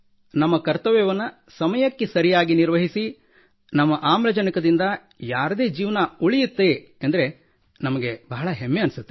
ನಮ್ಮ ಕರ್ತವ್ಯವನ್ನು ಸಮಯಕ್ಕೆ ಸರಿಯಾಗಿ ನಿರ್ವಹಿಸಿ ನಮ್ಮ ಆಮ್ಲಜನಕದಿಂದ ಯಾರದೇ ಜೀವನ ಉಳಿಯುತ್ತದೆ ಎಂದರೆ ಬಹಳ ಹೆಮ್ಮೆಯೆನಿಸುತ್ತದೆ